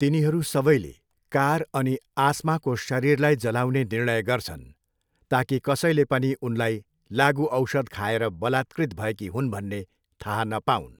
तिनीहरू सबैले कार अनि आस्माको शरीरलाई जलाउने निर्णय गर्छन् ताकि कसैले पनि उनलाई लागुऔषध खाएर बलात्कृत भएकी हुन् भन्ने थाहा नपाऊन्।